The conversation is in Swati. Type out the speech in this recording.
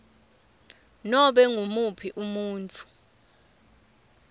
nobe ngumuphi umuntfu